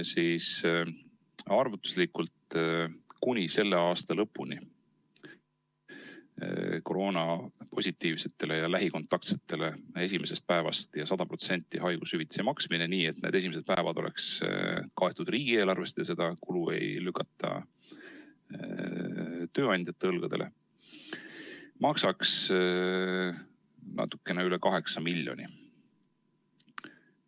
Arvutuslikult maksaks kuni selle aasta lõpuni koroonapositiivsetele ja lähikontaktsetele esimesest päevast 100% haigushüvitise maksmine, nii et need esimesed päevad oleks kaetud riigieelarvest ja seda kulu ei lükataks tööandjate õlgadele, natukene üle kaheksa miljoni euro.